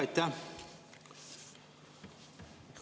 Aitäh!